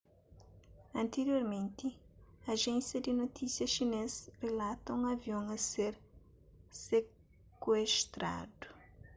antiriormenti ajénsia di notisia xinês rilata un avion a ser sekuestradu